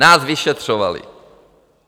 Nás vyšetřovali.